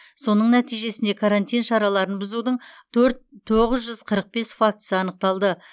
соның нәтижесінде карантин шараларын бұзудың төрт тоғыз жүз қырық бес фактісі анықталды